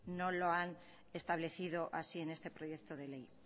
no lo han establecido así en este proyecto de ley